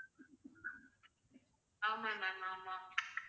ஆமாம் ma'am ஆமாம்